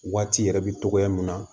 Waati yɛrɛ bɛ togoya mun na